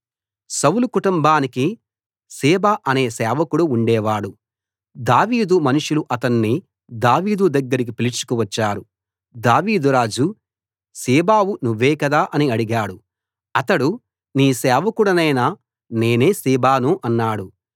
సౌలు కుటుంబానికి సీబా అనే సేవకుడు ఉండేవాడు దావీదు మనుషులు అతణ్ణి దావీదు దగ్గరికి పిలుచుకు వచ్చారు దావీదు రాజు సీబావు నువ్వే కదా అని అడిగాడు అతడు నీ సేవకుడినైన నేనే సీబాను అన్నాడు